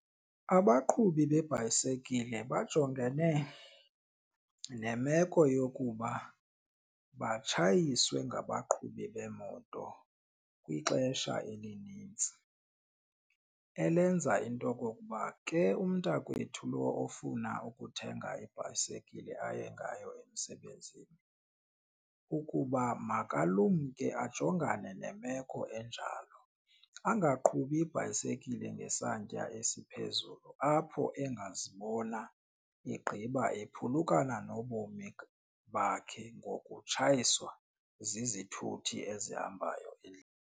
Abaqhubi beebhayisekile bajongene nemeko yokuba batshayiswe ngabaqhubi beemoto kwixesha elinintsi. Elenza into okokuba ke umntakwethu lo ofuna ukuthenga ibhayisekile aye ngayo emsebenzini ukuba makalumke ajongane nemeko enjalo, angaqhubi ibhayisekile ngesantya esiphezulu apho engazibona egqiba ephulukana nobomi bakhe ngokutshayiswa zizithuthi ezihambayo .